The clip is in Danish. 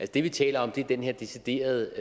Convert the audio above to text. det vi taler om er den her decideret